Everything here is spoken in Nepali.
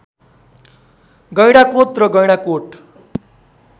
गैंडाकोत र गैंडाकोट